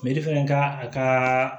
fana ka a ka